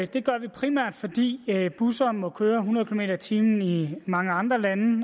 det gør vi primært fordi busser må køre hundrede kilometer per time i mange andre lande